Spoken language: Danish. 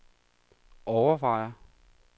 overvejer